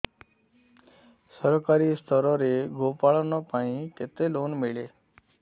ସରକାରୀ ସ୍ତରରେ ଗୋ ପାଳନ ପାଇଁ କେତେ ଲୋନ୍ ମିଳେ